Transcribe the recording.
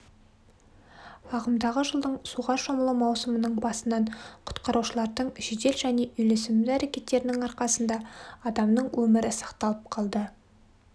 ағымдағы жылдың суға шомылу маусымының басынан құтқарушылардың жедел және үйлесімді әрекеттерінің арқасында адамның өмірі сақталып қалды